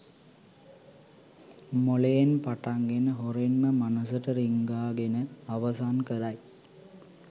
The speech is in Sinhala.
මොළයෙන් පටන් ගෙන හොරෙන්ම මනසට රිංගා ගෙන අවසන් කරයි.